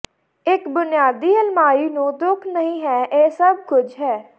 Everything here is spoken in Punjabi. ਇੱਕ ਬੁਨਿਆਦੀ ਅਲਮਾਰੀ ਨੂੰ ਦੁੱਖ ਨਹੀ ਹੈ ਇਹ ਸਭ ਕੁਝ ਹੈ